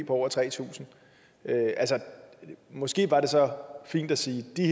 på over tre tusind måske var det så fint at sige at de